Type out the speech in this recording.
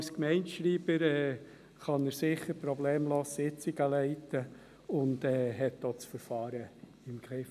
Als Gemeindeschreiber kann er sicher problemlos Sitzungen leiten und hat auch das Verfahren im Griff.